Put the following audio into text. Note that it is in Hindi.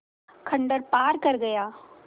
खंडहर पार कर गया